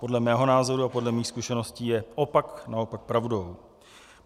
Podle mého názoru a podle mých zkušeností je opak naopak pravdou.